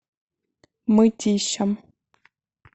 мытищам